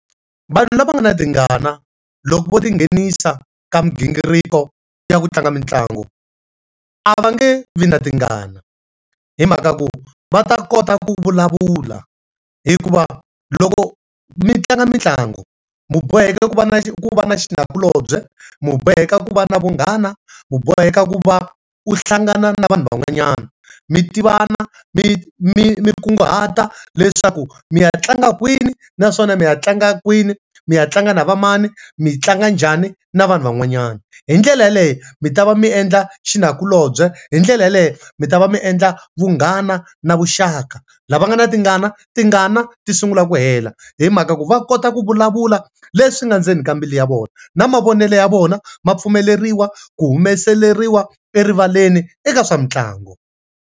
Vanhu lava nga na tingana, loko vo ti nghenisa ka migingiriko ya ku tlanga mitlangu, a va nge vi na tingana. Hi mhaka ku va ta kota ku vulavula. Hikuva loko mi tlanga mitlangu, mi boheki ku va na ku va na xinakulobye, mi boheka ku va na vunghana, mi boheka ku va u hlangana na vanhu van'wanyana. Mi tivana, mi mi nkunguhata leswaku mi ya tlanga kwini naswona mi ya tlanga kwini, mi ya tlanga na va mani, mi tlanga njhani na vanhu van'wanyana. Hi ndlela yaleyo, mi ta va mi endla xinakulobye, hi ndlela yaleyo mi ta va mi endla vunghana na vuxaka. Lava nga na tingana, tingana ti sungula ku hela hi mhaka ku va kota ku vulavula leswi nga endzeni ka mbilu ya vona. Na mavonele ya vona ma pfumeleriwa ku humeseriwa erivaleni eka swa mitlangu.